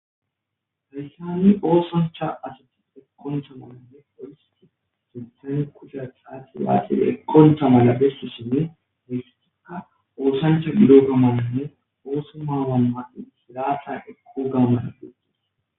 hayssanni oosancha asati ekkontha malanne ohisti suthan kushathati laati ekkontha mala bestishinne mistikka oosancha gido gamananne ooso maawanmaqi silaatha ekko gammasa begidas